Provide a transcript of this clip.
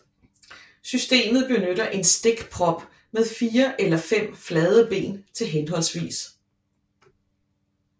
Systemet benytter en stikprop med 4 eller 5 flade ben til hhv